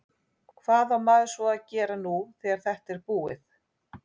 Hvað á maður svo að gera nú þegar þetta er búið?